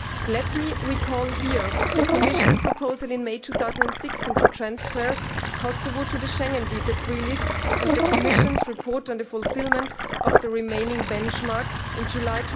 Let me recall here the Commission proposal in May 2016 to transfer Kosovo to the Schengen visa free list and the Commission's report on the fulfilment of the remaining benchmarks in July